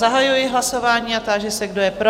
Zahajuji hlasování a táži se, kdo je pro?